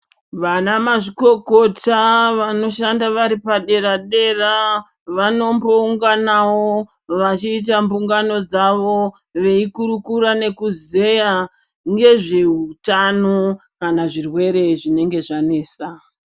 Vanamazvikokota vanoshanda vari padera-dera vanombounganwo vachiita mbungano dzavo, veikurukura nekuzeya nezveutano kana zvirwere zvinenge zvanesa.